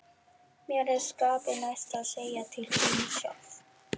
Mér er skapi næst að segja til þín sjálf!